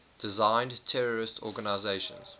designated terrorist organizations